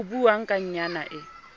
ho buuwang ka yna e